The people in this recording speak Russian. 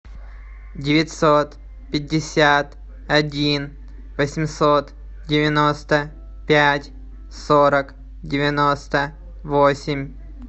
девятьсот пятьдесят один восемьсот девяносто пять сорок девяносто восемь